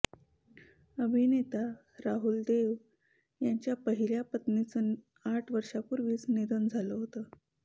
अभिनेता राहुल देव याच्या पहिल्या पत्नीचं आठ वर्षापूर्वीच निधन झालं होतं